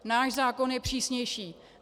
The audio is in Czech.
Náš zákon je přísnější.